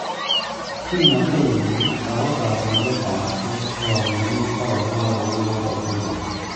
Kimnatet nyi aka kakiletabkey kokimito kamwaei kounotok cherono